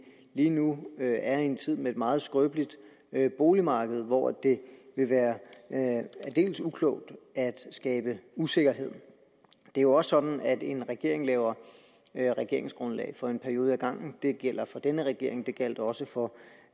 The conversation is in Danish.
lige nu er i en tid med et meget skrøbeligt boligmarked hvor det vil være aldeles uklogt at skabe usikkerhed det er jo også sådan at en regering laver regeringsgrundlag for en periode ad gangen det gælder for denne regering det gjaldt også for